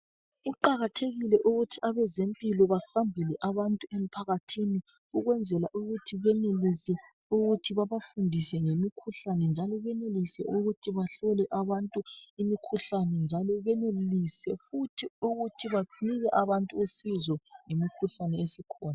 Kuqakathekile ukuthi abazempilo bahambele abantu emphakathini ukwenzela ukuthi benelisa ukuthi babafundise ngemikhuhlane, njalo benelisa ukuthi bahlole abantu imikhuhlane, njalo benelisa futhi ukuthi banike abantu usizo ngemikhuhlane esikhona.